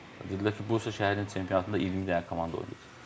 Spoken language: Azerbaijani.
Dedilər ki, Bursa şəhərinin çempionatında 20 dənə komanda oynayır.